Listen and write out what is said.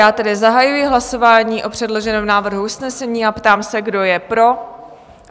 Já tedy zahajuji hlasování o předloženém návrhu usnesení a ptám se, kdo je pro?